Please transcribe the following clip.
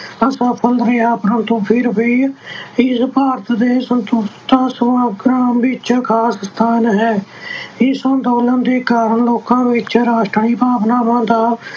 ਅਸਫ਼ਲ ਰਿਹਾ ਪਰੰਤੂ ਫਿਰ ਵੀ ਇਸ ਦਾ ਭਾਰਤ ਦੇ ਸੁਤੰਤਰਤਾ ਸੰਗਰਾਮ ਵਿੱਚ ਖ਼ਾਸ ਸਥਾਨ ਹੈ ਇਸ ਅੰਦੋਲਨ ਦੇ ਕਾਰਨ ਲੋਕਾਂ ਵਿੱਚ ਰਾਸ਼ਟਰੀ ਭਾਵਨਾ ਦਾ